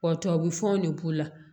Ɔ tubabufɔn ne b'o la